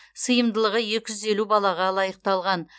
сыйымдылығы екі жүз елу балаға лайықталған